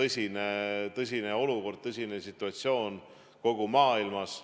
See on tõsine olukord, tõsine situatsioon kogu maailmas.